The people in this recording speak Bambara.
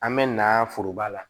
An bɛ na foroba la